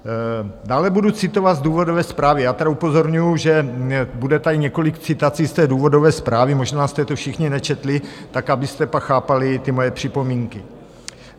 Dále budu citovat z důvodové zprávy - já tady upozorňuji, že tady bude několik citací z té důvodové zprávy, možná jste to všichni nečetli, tak abyste pak chápali ty moje připomínky.